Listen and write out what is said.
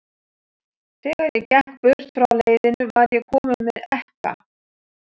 Þegar ég gekk burt frá leiðinu, var ég kominn með ekka.